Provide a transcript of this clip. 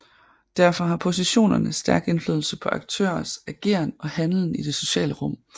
Derfor har positionerne stærk indflydelse på aktørers ageren og handlen i det sociale rum